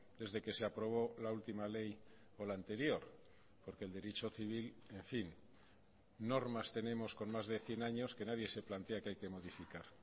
desde que se aprobó la última ley o la anterior porque el derecho civil en fin normas tenemos con más de cien años que nadie se plantea que hay que modificar